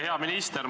Hea minister!